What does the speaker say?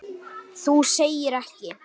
Það viljum við ekki.